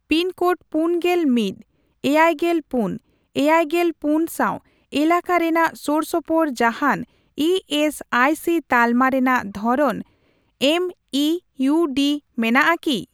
Pin code ᱯᱩᱱᱜᱮᱞ ᱢᱤᱫ, ᱮᱭᱟᱭᱜᱮᱞ ᱯᱩᱱ, ᱮᱭᱟᱭᱜᱮᱞ ᱯᱩᱱ ᱥᱟᱣ ᱮᱞᱟᱠᱟ ᱨᱮᱱᱟᱜ ᱥᱳᱨᱥᱳᱯᱳᱨ ᱡᱟᱦᱟᱱ ᱤ ᱮᱥ ᱟᱭ ᱥᱤ ᱛᱟᱞᱢᱟ ᱨᱮᱱᱟᱜ ᱫᱷᱚᱨᱚᱱ ᱮᱢᱤᱤᱭᱩᱰᱤ ᱢᱮᱱᱟᱜᱼᱟ ᱠᱤ ?